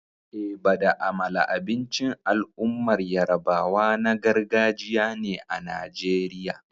Eba da amala abincin al'ummar yarabawa na gargajiya ne a Najeriya.